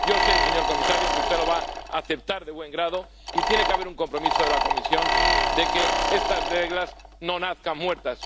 Yo sé, señor comisario, que usted lo va a aceptar de buen grado, y tiene que haber un compromiso de la Comisión para que estas reglas no nazcan muertas.